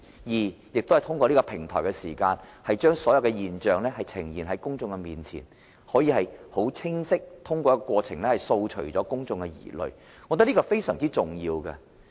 第二，通過這個平台和過程，將所有現象呈現在公眾面前，可以很清晰有力地掃除公眾的疑慮，我覺得這是非常重要的。